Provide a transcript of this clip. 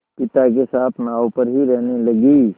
पिता के साथ नाव पर ही रहने लगी